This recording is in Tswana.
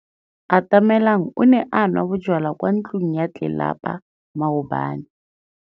Atamelang o ne a nwa bojwala kwa ntlong ya tlelapa maobane.